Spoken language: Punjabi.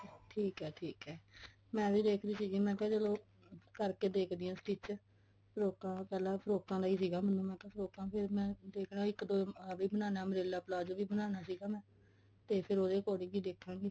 ਠੀਕ ਐ ਠੀਕ ਐ ਮੈਂ ਵੀ ਦੇਖ ਰਹੀ ਸੀਗੀ ਮੈਂ ਕਿਹਾ ਚਲੋ ਕਰਕੇ ਦੇਖਦੀ ਆ stich ਫ੍ਰੋਕਾ ਪਹਿਲਾਂ ਫ੍ਰੋਕਾ ਦਾ ਹੀ ਸੀਗਾ ਮੈਨੂੰ ਮੈਂ ਕਿਹਾ ਪਹਿਲਾਂ ਫ੍ਰੋਕਾ ਫੇਰ ਮੈਂ ਇੱਕ ਦੋ ਆਹ ਵੀ umbrella palazzo ਵੀ ਬਨਾਣਾ ਸੀ ਤੇ ਫੇਰ ਉਹਦੇ according ਹੀ ਦੇਖਾਂਗੇ